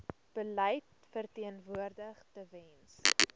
beleid verteenwoordig tewens